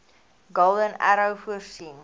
golden arrow voorsien